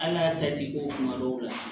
Hali n'a ta t'i ko kuma dɔw la